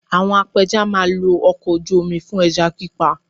Àwọn apẹja máa lo ọkọ̀ ojú mi fún ẹja pípa